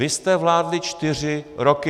Vy jste vládli čtyři roky.